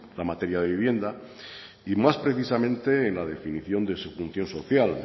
la materia de vivienda y más precisamente en la definición de su función social